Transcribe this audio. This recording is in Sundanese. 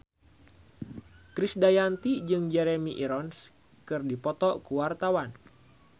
Krisdayanti jeung Jeremy Irons keur dipoto ku wartawan